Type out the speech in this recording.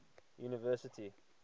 university